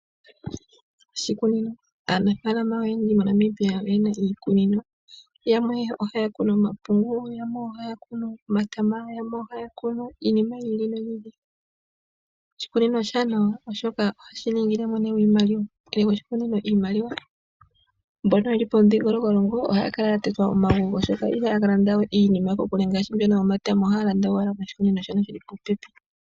Oshikunino, aanafalama oyendji moNamibia oyena iikunino yamwe ohaya kunu omapungu yamwe ohaya kunu omatama yamwe ohaya kunu iinima yili noyi ili. Oshikunino oshaanawa oshoka ohashi iimaliwa ningi mwene aninge iimaliwa. Mboka yele momudhingoloko longo oha kala ya tetwa omagulu ihaya ka landawe iinima ko kulu oha landa owa ko shikununo shono shili popepi.